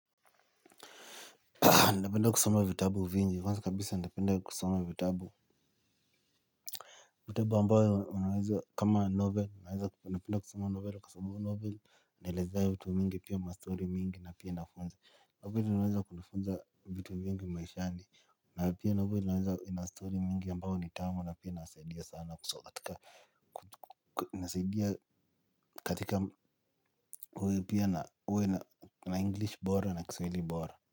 Napenda kusoma vitabu vingi, kwanza kabisa napenda kusoma vitabu Vitabu ambayo unaweza kama novel, unaweza napenda kusoma novel kwa sababu novel hunielezea vitu mingi pia mastory mingi na pia inafunza novel inaweza kutufunza vitu vingi maishani. Na pia noveli inaweza ina story mingi ambayo ni tamu na pia inasaidia sana katika inasaidia katika kwaio pia uwe na English bora na kiswahili bora.